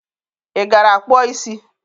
Ị gara kpụọ isi?